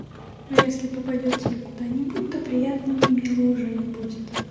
ну если попадёт тебе куда-нибудь то приятного и милого уже не будет